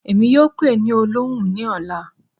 Èmí yóò pe é ní ipe òlọhun ni ọla